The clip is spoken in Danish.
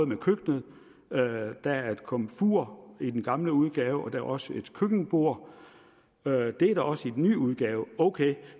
med køkkenet der er et komfur i den gamle udgave og der er også et køkkenbord det er der også i den nye udgave okay